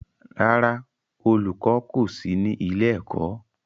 Rárá, olùkọ́ kọ̀ sí ní ilé-ẹ̀kọ́.